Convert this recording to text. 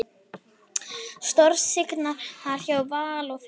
Stórsigrar hjá Val og Fylki